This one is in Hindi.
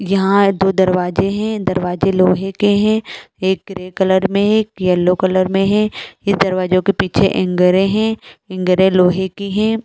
यहाँ दो दरवाजे है दरवाजे लोहे के है एक ग्रे कलर मे है एक येलो कलर मे है ये दरवाजो के पीछे एन्गेरे हैं एन्गेरे लोहे के हैं ।